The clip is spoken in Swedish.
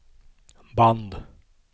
band